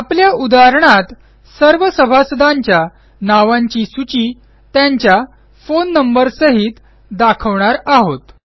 आपल्या उदाहरणात सर्व सभासदांच्या नावांची सूची त्यांच्या फोन नंबरसहित दाखवणार आहोत